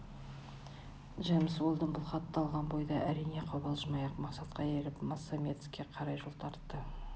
джемс уэлдон бұл хатты алған бойда әрине қобалжымай-ақ мақсатқа еріп моссамедеске қарай жол тартады